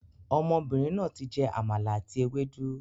Ọmọbìnrin náà tí jẹ Àmàlà àti ewédú